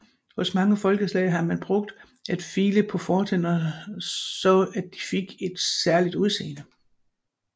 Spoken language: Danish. Hos mange folkeslag har man brugt at file på fortænderne så at de fik et særligt udseende